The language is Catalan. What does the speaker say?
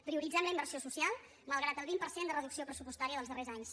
prioritzem la inversió social malgrat el vint per cent de reducció pressupostària dels darrers anys